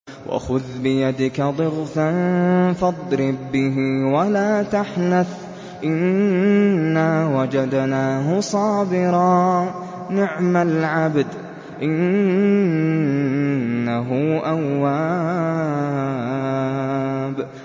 وَخُذْ بِيَدِكَ ضِغْثًا فَاضْرِب بِّهِ وَلَا تَحْنَثْ ۗ إِنَّا وَجَدْنَاهُ صَابِرًا ۚ نِّعْمَ الْعَبْدُ ۖ إِنَّهُ أَوَّابٌ